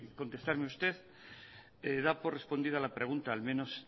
contestarme usted da por respondida la pregunta al menos